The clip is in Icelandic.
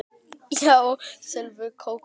Já, sjálf Kókó